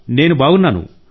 నేను బాగున్నాను సార్